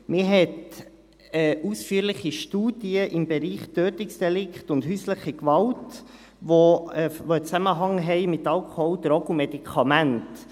Man hat ausführliche Studien im Bereich Tötungsdelikte und häusliche Gewalt, die einen Zusammenhang haben mit Alkohol, Drogen und Medikamenten.